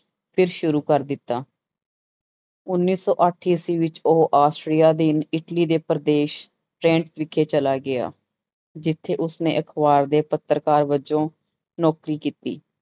ਫਿਰ ਸ਼ੁਰੂ ਕਰ ਦਿੱਤਾ ਉੱਨੀ ਸੌ ਅੱਠ ਈਸਵੀ ਵਿੱਚ ਉਹ ਆਸਟਰੀਆ ਦੇ ਇਟਲੀ ਦੇ ਪ੍ਰਦੇਸ਼ ਵਿਖੇ ਚਲਾ ਗਿਆ, ਜਿੱਥੇ ਉਸਨੇ ਅਖ਼ਬਾਰ ਦੇ ਪੱਤਰਕਾਰ ਵਜੋਂ ਨੌਕਰੀ ਕੀਤੀ।